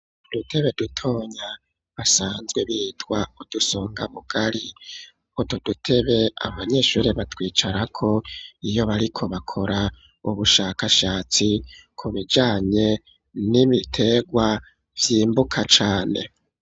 Udutebe dutonya basanzwe bitwa udusonga bugari utu dutebe abanyeshuri batwicarako iyo bariko bakora ubushakashatsi ku bijanye n'ibitegwa vyimbuka cane.